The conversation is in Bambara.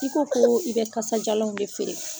I ko koo i bɛ kasajalanw ne feere.